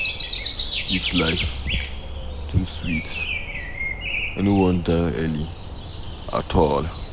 Dis life too sweet, I no wan die early at all.